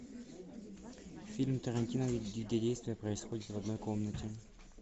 фильм тарантино где действие происходит в одной комнате